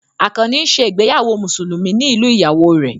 Àkànnì ń ṣe ìgbéyàwó Mùsùlùmí ní ìlú ìyàwó rẹ̀